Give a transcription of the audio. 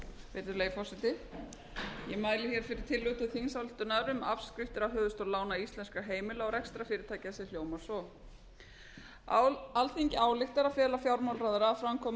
virðulegi forseti ég mæli hér fyrir tillögu til þingsályktunar um afskriftir af höfuðstól íslenskra lána heimila og rekstrarfyrirtækja sem hljómar svo alþingi ályktar að fela fjármálaráðherra að framkvæma